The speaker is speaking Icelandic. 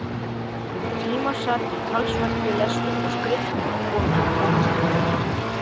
Um tíma sat ég talsvert við lestur og skriftir á Konunglega bókasafninu í